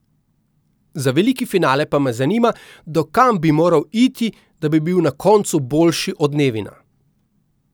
Za veliki finale pa me zanima, do kam bi moral iti, da bi bil na koncu boljši od Nevina.